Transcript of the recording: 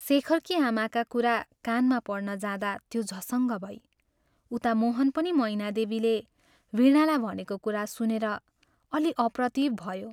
शेखरकी आमाका कुरा कानमा पर्न जाँदा त्यो झसङ्ग भई उता मोहन पनि मैनादेवीले वीणालाई भनेको कुरा सुनेर अल्लि अप्रतिभ भयो।